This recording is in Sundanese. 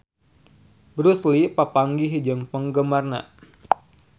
Bruce Lee papanggih jeung penggemarna